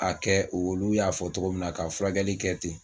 A kɛ olu y'a fɔ cogo min na ka furakɛli kɛ ten.